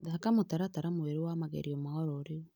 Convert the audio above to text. Thondeka mũtaratara mwerũ wa magerio ma ororĩu.